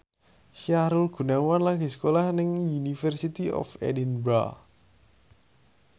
Sahrul Gunawan lagi sekolah nang University of Edinburgh